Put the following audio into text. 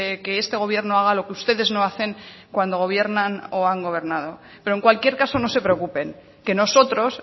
que este gobierno haga lo que ustedes no hacen cuando gobiernan o han gobernado pero en cualquier caso no se preocupen que nosotros